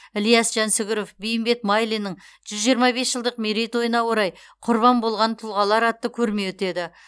ілияс жансүгіров бейімбет майлиннің жүз жиырма бес жылдық мерейтойына орай құрбан болған тұлғалар атты көрме өтеді